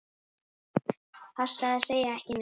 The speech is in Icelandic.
Passaðu að segja ekki neitt.